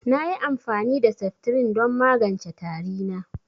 Nayi amfani da seftirin don magance tari na